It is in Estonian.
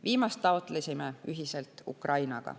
Viimast taotlesime ühiselt Ukrainaga.